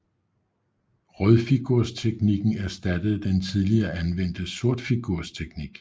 Rødfigursteknikken erstattede den tidligere anvendte sortfigursteknik